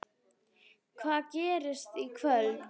Hvað gerist í kvöld?